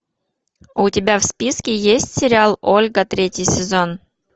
у тебя в списке есть сериал ольга третий сезон